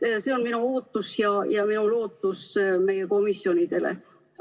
See on minu ootus ja minu lootus meie komisjonidele.